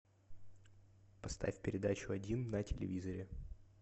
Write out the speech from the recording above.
поставь передачу один на телевизоре